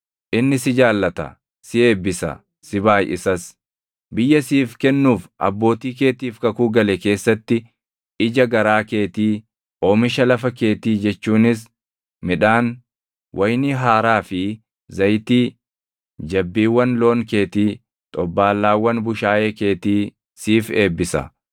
Inni si jaallata; si eebbisa; si baayʼisas. Biyya siif kennuuf abbootii keetiif kakuu gale keessatti ija garaa keetii, oomisha lafa keetii jechuunis midhaan, wayinii haaraa fi zayitii, jabbiiwwan loon keetii, xobbaallaawwan bushaayee keetii siif eebbisa.